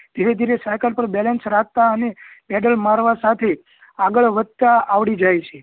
ધીરે ધીરે સાયકલ પર balance રાખતા અને પેઈડલ મારવા સાથે આગળ વધતા આવડી જાય છે